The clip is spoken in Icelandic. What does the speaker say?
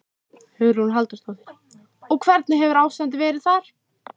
Hugrún Halldórsdóttir: Og hvernig hefur ástandið verið þar?